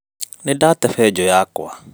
Nĩndate benjũ yakwa